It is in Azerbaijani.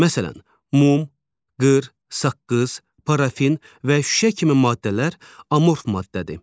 Məsələn, mum, qır, saqqız, parafin və şüşə kimi maddələr amorf maddədir.